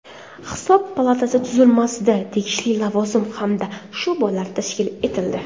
Hisob palatasi tuzilmasida tegishli lavozim hamda sho‘balar tashkil etildi.